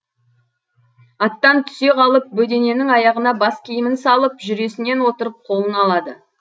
аттан түсе қалып бөдененің аяғына бас киімін салып жүресінен отырып қолын алады